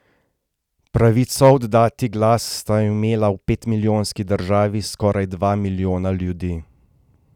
Pravico oddati glas sta imela v petmilijonski državi skoraj dva milijona ljudi.